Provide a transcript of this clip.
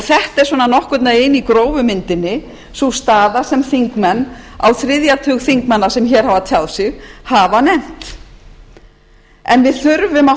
þetta er svona nokkurn veginn í grófu myndinni sú staða sem þingmenn á þriðja tug þingmanna sem hér hafa tjáð sig hafa nefnt við þurfum að